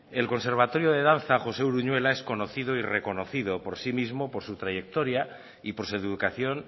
el conservatorio de danza josé uruñuela es conocido y reconocido por sí mismo por su trayectoria y por su educación